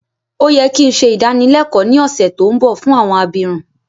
Ó yẹ ki n se ìdánilẹ́kọ ni ọ̀ṣẹ̀ to nbọ fún àwọn abirun